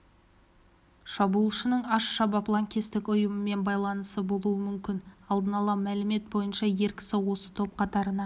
шабуылшының аш-шабаб лаңкестік ұйымымен байланысы болуы мүмкін алдынала мәлімет бойынша ер кісі осы топ қатарына